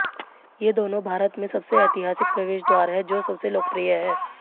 ये दोनों भारत में सबसे ऐतिहासिक प्रवेश द्वार हैं जो सबसे लोकप्रिय हैं